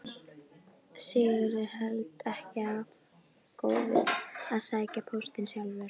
Sigurður heldur ekki of góður að sækja póstinn sjálfur.